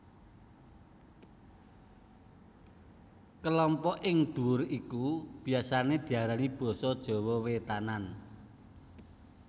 Kelompok ing ndhuwur iku biasané diarani basa Jawa wétanan